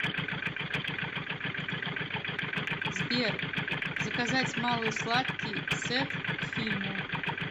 сбер заказать малый сладкий сет к фильму